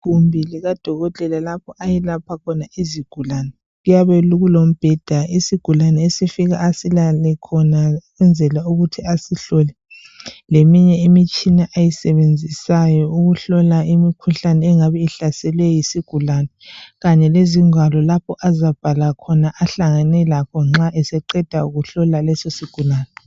Igumbi likadokotela lapho ayelapha khona izigulane. Kuyabe kulombheda isigulane esifika silale khona kwenzela ukuthi asihlole, leminye imitshina ayisebenzisayo ukuhlola imikhuhlane engabe ihlaselwe yizigulane ukwelapha isigulane. Kanye lezingwalo lapho azabhala khona nxa eseqeda kuhlola lesi sigulane.